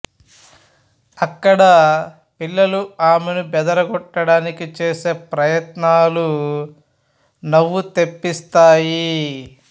అక్కడ పిల్లలు ఆమెను బెదరగొట్టడానికి చేసే ప్రయత్నాలు నవ్వు తెప్పిస్తాయి